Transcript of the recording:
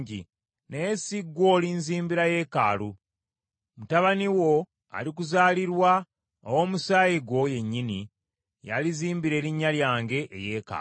Naye si ggwe olinzimbira yeekaalu, mutabani wo alikuzaalirwa, ow’omusaayi gwo yennyini, y’alizimbira erinnya lyange eyeekaalu.’